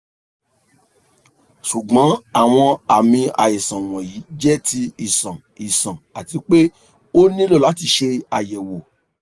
ṣugbọn awọn aami aisan wọnyi jẹ ti iṣan iṣan ati pe o nilo lati ṣe ayẹwo